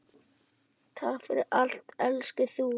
Takk fyrir allt elsku þú.